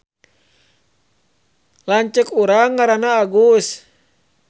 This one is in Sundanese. Lanceuk urang ngaranna Agus